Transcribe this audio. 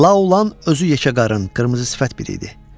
La Olan özü yekəqarın, qırmızı sifət biri idi.